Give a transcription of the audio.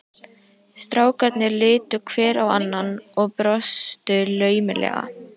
Strákarnir litu hver á annan og brostu laumulega.